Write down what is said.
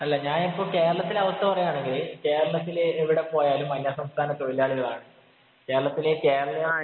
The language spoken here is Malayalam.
അല്ല, ഞാനിപ്പം കേരളത്തിലെ അവസ്ഥ പറയുകയാണെങ്കില് കേരളിത്തിലെവിടെ പോയാലും അന്യസംസ്ഥാന തൊഴിലാളികളാണ്.കേരളത്തിലെ കേരളിയര്‍